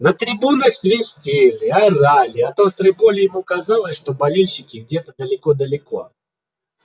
на трибунах свистели орали от острой боли ему казалось что болельщики где-то далеко-далеко